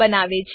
બનાવે છે